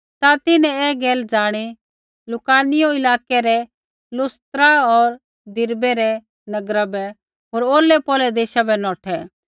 ता तिन्हैं ऐ गैल ज़ाणी होर लुकाउनियै इलाकै रै लुस्त्रा होर दिरबै रै नगरा बै होर औरलैपौरलै देशा बै नौठै